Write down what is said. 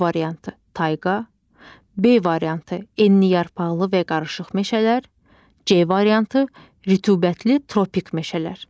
A variantı: tayqa, B variantı: enliyarpaqlı və qarışıq meşələr, C variantı: rütubətli tropik meşələr.